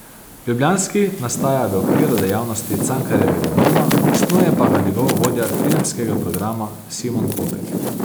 Ljubljanski nastaja v okviru dejavnosti Cankarjevega doma, snuje pa ga njegov vodja filmskega programa Simon Popek.